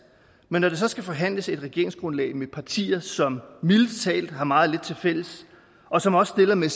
men når der så skal forhandles et regeringsgrundlag med partier som mildest talt har meget lidt tilfælles og som også stiller med